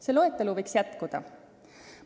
See loetelu võiks jätkuda.